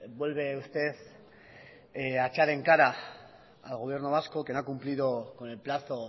vuelve usted a echar en cara al gobierno vasco que no ha cumplido con el plazo